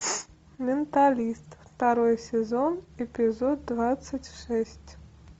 менталист второй сезон эпизод двадцать шесть